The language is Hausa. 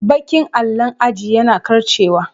Baƙin allon aji yana karcewa.